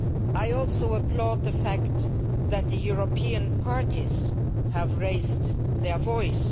I also applaud the fact that the European parties have raised their voice.